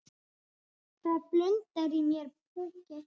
Það blundar í mér púki.